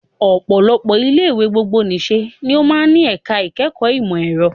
Ọ̀pọ̀lọpọ̀ ilé ìwé gbogbonìṣe ni ó máa ń ní ẹ̀ka ìkẹ́kọ̀ọ́ ìmọ̀ ẹ̀rọ